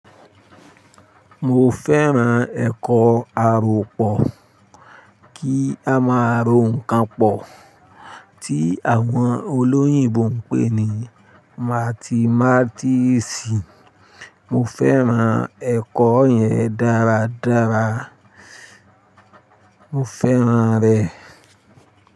Mo fẹ́ran ẹ̀kọ́ aròpọ̀ kí a máa rò nǹkan pọ̀ tí àwọn olóyìnbo ń pè ní mathematics. Mo fẹ́ran ẹ̀kọ́ yẹn dáradára, mo fẹ́ran rẹ̀.